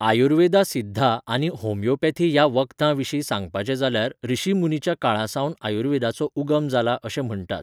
आयुर्वेदा सिद्धा आनी होमियोपेथी ह्या वखदां विशीं सांगपाचे जाल्यार ऋशि मुनिच्या काळासावन आयुर्वेदाचो उगम जाला अशें म्हणटात.